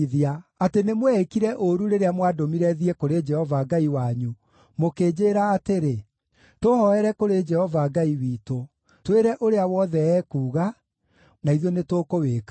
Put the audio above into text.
atĩ nĩmweĩĩkire ũũru rĩrĩa mwandũmire thiĩ kũrĩ Jehova Ngai wanyu, mũkĩnjĩĩra atĩrĩ, ‘Tũhooere kũrĩ Jehova Ngai witũ; twĩre ũrĩa wothe ekuuga, na ithuĩ nĩtũkũwĩka.’